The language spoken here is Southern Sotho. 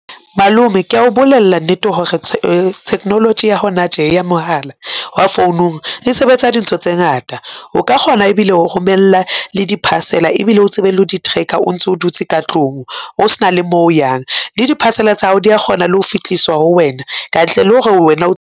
Malome ke a o bolela nnete hore technology ya hona tje ya mohala wa founung e sebetsa dintho tse ngata, o ka kgona ebile ho romella le di-parcel-a ebile o tsebe le ho di-tracker o ntso dutse ka tlung, o s'na le mo o yang. Le di-parcel-a tsa hao di a kgona le ho fitliswa ho wena kantle le ho re wena o.